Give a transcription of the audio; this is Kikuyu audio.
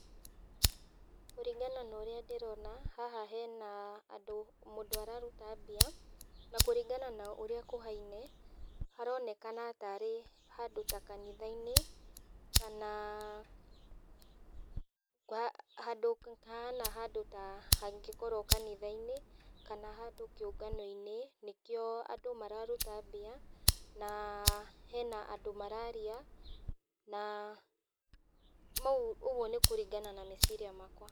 Kũringana na ũrĩa ndĩrona, haha hena andũ mũndũ ũraruta mbia, na kũringana na ũrĩa kũhaine, haronekana tarĩ handũ ta kanithainĩ, kana handũ hahana haũndũ ta hangĩkorwo kanithainĩ, kana handũ kĩũnganoinĩ, nĩkio andũ mararuta mbia, na hena andũ mararia, na ũguo nĩkũringana na meciria makwa.